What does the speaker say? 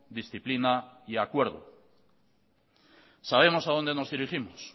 disciplina y acuerdo sabemos a dónde nos dirigimos